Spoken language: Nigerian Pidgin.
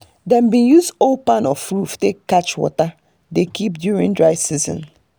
dem bin use old kpan of roof take catch water dey keep during dry seasons